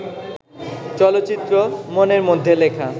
চলচ্চিত্র 'মনের মধ্যে লেখা'